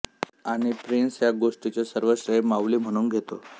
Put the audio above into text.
आणि प्रिन्स या गोष्टीचे सर्व श्रेय माऊली म्हणून घेतो